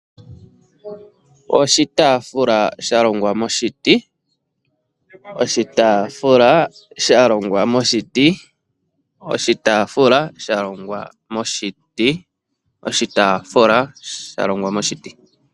Oshitaafula shalongwa moshiti, oshitaafula shalongwa moshiti.